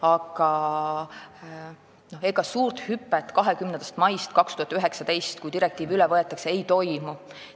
Aga ega suurt hüpet pärast 20. maid 2019, kui direktiiv üle võetakse, ei toimu.